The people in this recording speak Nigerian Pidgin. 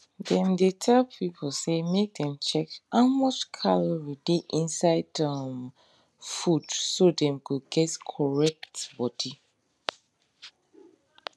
dem dey tell people say make dem check how much calorie dey inside um food so dem go get correct body